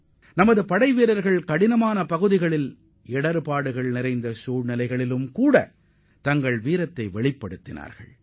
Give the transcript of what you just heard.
சிரமமான பகுதிகளிலும் மோசமான பருவநிலை காலங்களிலும் நமது வீரர்கள் தங்களது துணிச்சலையும் வீரத்தையும் வெளிப்படுத்தியுள்ளனர்